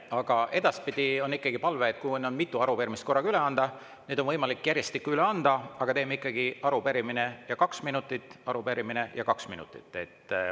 Aga edaspidi on palve, et kui on mitu arupärimist korraga üle anda, neid on võimalik järjestikku üle anda, aga teeme ikkagi arupärimine ja kaks minutit, arupärimine ja kaks minutit.